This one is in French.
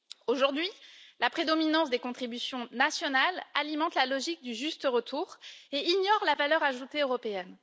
Aujourd'hui, la prédominance des contributions nationales alimente la logique du juste retour et ignore la valeur ajoutée européenne.